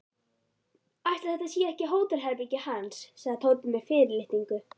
Ætli þetta sé ekki hótelherbergið hans sagði Tóti með fyrirlitningu.